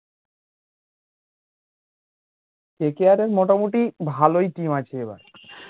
KKR এর মোটামুটি ভালোই team আছে